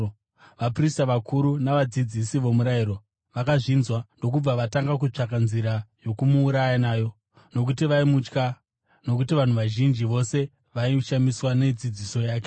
Vaprista vakuru navadzidzisi vomurayiro vakazvinzwa ndokubva vatanga kutsvaka nzira yokumuuraya nayo, nokuti vaimutya, nokuti vanhu vazhinji vose vaishamiswa nedzidziso yake.